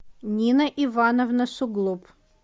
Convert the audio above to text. нина ивановна суглуб